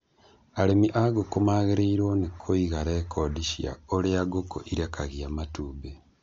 Arĩmi a ngũkũ magĩrĩirwo nĩ kũiga rekondi cia ũrĩa ngũkũ irekagia matumbi.